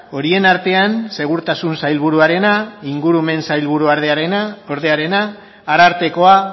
horien artean segurtasun sailburuarena ingurumen sailburuordearena arartekoa